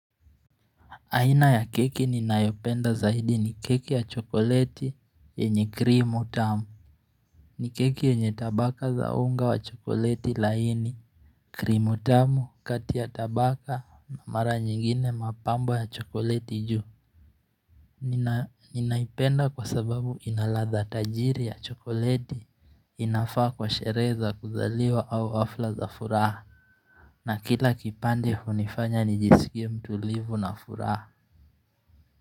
Aina ya keki ninayopenda zaidi ni keki ya chokoleti yenye krimu tamu ni keki enye tabaka za unga wa chokoleti laini krimu tamu kati ya tabaka na mara nyingine mapambo ya chokoleti juu Ninaipenda kwa sababu inaladha tajiri ya chokoleti inafaa kwa sherehe kuzaliwa au hafla za furaha na kila kipande hunifanya nijisikie mtulivu na furaha.